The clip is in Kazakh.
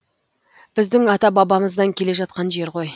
біздің ата бабамыздан келе жатқан жер ғой